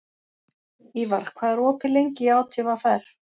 Ívar, hvað er opið lengi í ÁTVR?